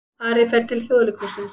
Ari fer til Þjóðleikhússins